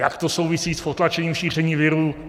Jak to souvisí s potlačením šíření viru?